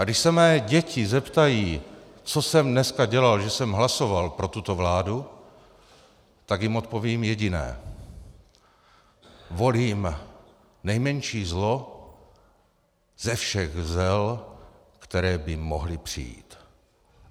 A když se mé děti zeptají, co jsem dneska dělal, že jsem hlasoval pro tuto vládu, tak jim odpovím jediné: Volím nejmenší zlo ze všech zel, která by mohla přijít.